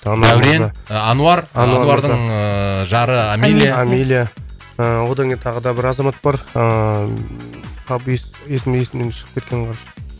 дәурен ануар ануардың ыыы жары амелия амелия ыыы одан кейін тағы да бір азамат бар ыыы қап есімі есімнен шығып кеткенін қарашы